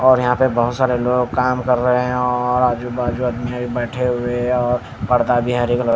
और यहाँ पे बहुत सारे लोग काम कर रहे हैं और आजू बाजू आदमी बैठे हुए हैं और पर्दा भी हरे कलर --